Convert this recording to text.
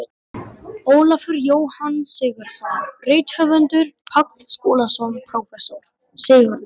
Ólafur Jóhann Sigurðsson rithöfundur, Páll Skúlason prófessor, Sigurður